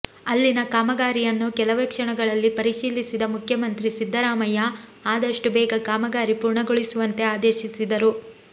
ಅಲ್ಲಿನ ಕಾಮಗಾರಿಯನ್ನು ಕೆಲವೇ ಕ್ಷಣಗಳಲ್ಲಿ ಪರಿಶೀಲಿಸಿದ ಮುಖ್ಯಮಂತ್ರಿ ಸಿದ್ದರಾಮಯ್ಯ ಆದಷ್ಟು ಬೇಗ ಕಾಮಗಾರಿ ಪೂರ್ಣಗೊಳಿಸುವಂತೆ ಆದೇಶಿಸಿದರು